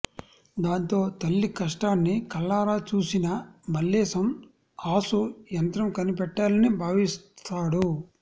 దాంతో తల్లి కష్టాన్ని కళ్లారా చూసిన మల్లేశం ఆసు యంత్రం కనిపెట్టాలని భావిస్తాడు